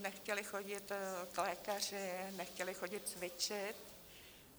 nechtěli chodit k lékaři, nechtěli chodit cvičit.